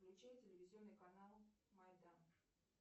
включи телевизионный канал майдан